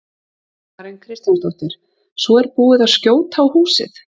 Karen Kjartansdóttir: Svo er búið að skjóta á húsið?